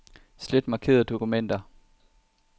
Slet markerede dokumenter.